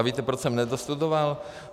A víte, proč jsem nedostudoval?